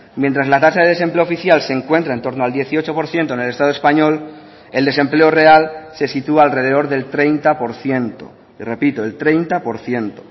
mientras la tasa de desempleo oficial se encuentra en torno al dieciocho por ciento en el estado español el desempleo real se sitúa alrededor del treinta por ciento repito el treinta por ciento